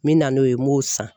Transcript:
N bɛ na n'o ye n b'o san